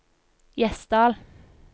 Gjesdal